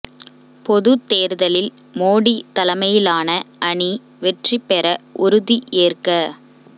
பொது தேர்தலில் மோடி தலைமையிலான அணி வெற்றி பெற உறுதி ஏற்க